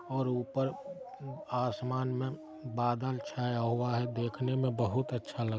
और ऊपर आसमान में बादल छाया हुआ है। देखने में बहुत अच्छा लगा--